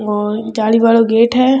और जाली वालाे गेट है।